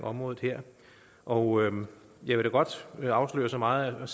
området her og jeg vil da godt afsløre så meget